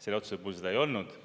Selle otsuse puhul seda ei olnud.